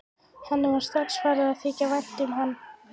Henni var strax farið að þykja vænt um hann.